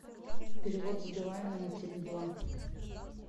перевод с билайна на теле два